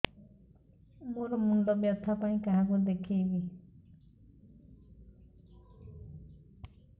ମୋର ମୁଣ୍ଡ ବ୍ୟଥା ପାଇଁ କାହାକୁ ଦେଖେଇବି